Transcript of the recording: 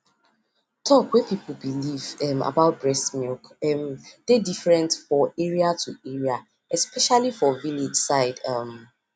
talk wey people believe um about breast milk um dey different for area to area especially for village side um